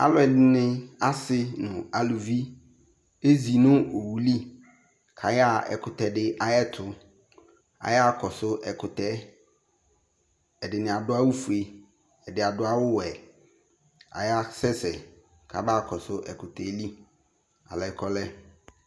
Aluɛde ne ase no aluvi ezi no owu liAyaa ɛkutɛ de ayeto Ayaa kɔso ɛkutɛɛ Ɛdene ado awufue, ɛde ado awuwɛ ayasɛsɛ kaba kɔso ɛkutɛ li, alɛ kɔlɛ